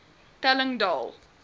telling daal